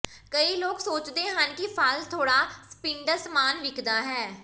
ਕਈ ਲੋਕ ਸੋਚਦੇ ਹਨ ਕਿ ਫਲ ਥੋੜਾ ਸਪਿੰਡਲ ਸਮਾਨ ਵੇਖਦਾ ਹੈ